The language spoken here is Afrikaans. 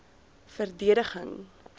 verdediging